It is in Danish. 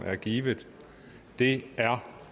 givet det er